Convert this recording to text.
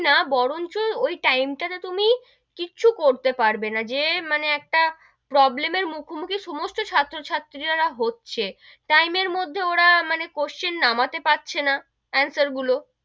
না বরঞ্চ ওই time টা তে তুমি কিছু করতে পারবে না যে মানে একটা problem এর মুখোমুখি সমস্ত ছাত্র-ছাত্রী রা হচ্ছে, time এর মধ্যে ওরা question নামাতে পারছে না, answer গুলো,